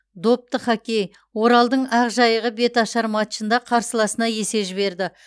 допты хоккей оралдың ақжайығы беташар матчында қарсыласына есе жіберді